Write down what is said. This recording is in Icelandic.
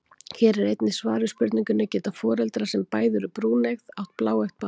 Hér er einnig svar við spurningunni: Geta foreldrar sem bæði eru brúneygð átt bláeygt barn?